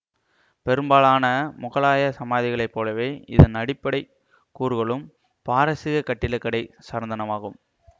பெரும்பாலான முகலாயச் சமாதிகளைப் போலவே இதன் அடிப்படை கூறுகளும் பாரசீகக் கட்டிலக்கடை சார்ந்தனவாகும்